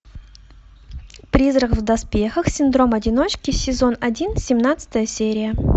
призрак в доспехах синдром одиночки сезон один семнадцатая серия